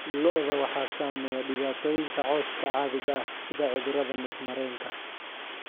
Lo'da waxaa saameeya dhibaatooyinka cawska caadiga ah, sida cudurrada neef-mareenka.